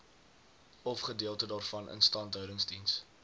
ofgedeelte daarvan instandhoudingsdiens